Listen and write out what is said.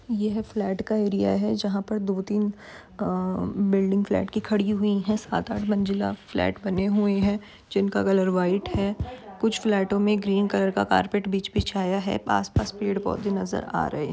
ये है फ्लैट का एरिया है जहां पर दो तीन अह बिल्डिंग फ्लैट की खड़ी हुई है। सात आठ मंजिला फ्लैट बने हुए हैं जिनका कलर व्हाइट है। कुछ फ्लैटों में ग्रीन कलर का कार्पेट बिछ बिछाया है। पास पास पेड़ पौधे नजर आ रहे --